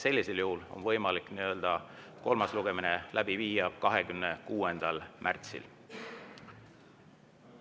Sellisel juhul on võimalik kolmas lugemine läbi viia 26. märtsil.